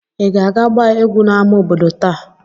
Ị ga-aga gbaa egwú n’ámá obodo taa?